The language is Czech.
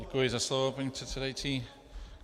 Děkuji za slovo, paní předsedající.